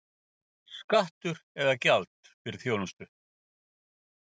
Skattur eða gjald fyrir þjónustu?